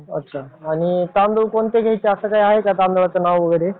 अच्छा आणि तांदूळ कोणते घ्यायचे असं काय आहे काय तांदळाचं नाव वगैरे.